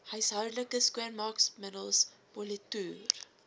huishoudelike skoonmaakmiddels politoer